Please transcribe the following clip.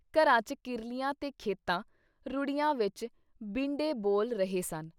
ਘਰਾਂ 'ਚ ਕਿਰਲੀਆਂ ਤੇ ਖੇਤਾਂ, ਰੂੜੀਆਂ ਵਿੱਚ ਬੀਂਡੇ ਬੋਲ ਰਹੇ ਸਨ।